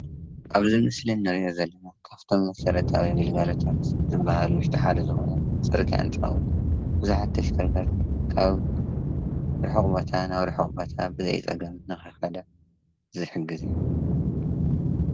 ኣብዚ ምስሊ ንሪኦ ዘለና ካብቶም መሰረታውያን ግልጋሎታት ዝበሃሉ ውሽጢ ሓደ ዝኾነ ፅርጊያ እንትኸውን ብዙሓት ተሽከርከርቲ ካብ ርሑቕ ቦታ ናብ ርሑቕ ቦታ ብዘይፀገም ንኽኸዳ ዝሕግዝ እዩ፡፡